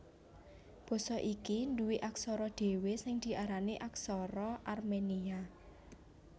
Basa iki nduwé aksara dhéwé sing diarani Aksara Armenia